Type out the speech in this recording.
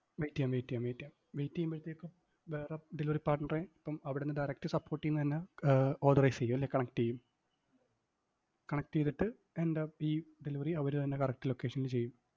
wait എയ്യാം wait എയ്യാം wait എയ്യാം. wait എയ്യുമ്പഴത്തേക്കും വേറെ delivery partner എ ഇപ്പം അവിടുന്ന് direct support ഈന്നന്നെ ക~ authorize ചെയ്യും അല്ലേ? connect ചെയ്യും. connect ചെയ്തിട്ട്, എൻ്റെ ഈ delivery അവര് തന്നെ correct location ല് ചെയ്യും.